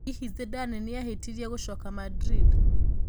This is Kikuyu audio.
Hihi Zidane nĩ aahitirie gũcoka Madrid?